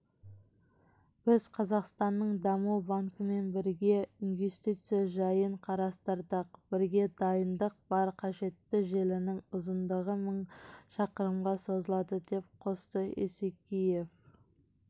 біз қазақстанның даму банкімен бірге инвестиция жайын қарастырдық бізде дайындық бар қажетті желінің ұзындығы мың шақырымға созылады деп қосты есекеев